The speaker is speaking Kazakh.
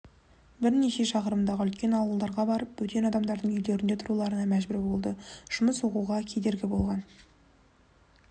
бірнеше шақырымдағы үлкен ауылдарға барып бөтен адамдардың үйлерінде тұруларына мәжбүр болды жұмыс оқуға кедергі болған